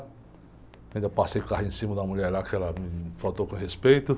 Ainda passei o carrinho em cima da mulher lá, porque ela me faltou com respeito.